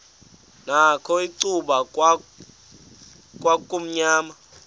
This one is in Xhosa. nakho icuba kwakumnyama